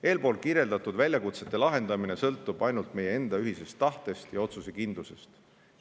Eelkirjeldatud väljakutsete lahendamine sõltub ainult meie enda ühisest tahtest ja otsusekindlusest.